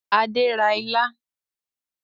Adé ra ilá